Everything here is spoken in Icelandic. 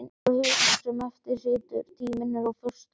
Hjá hinum sem eftir situr er tíminn úr föstu efni.